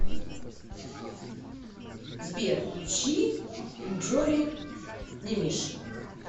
сбер включи инджури немиш